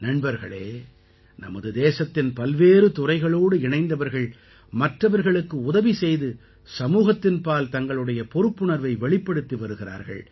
நண்பர்களே நமது தேசத்தின் பல்வேறு துறைகளோடு இணைந்தவர்கள் மற்றவர்களுக்கு உதவி செய்து சமூகத்தின்பால் தங்களுடைய பொறுப்புணர்வை வெளிப்படுத்தி வருகிறார்கள்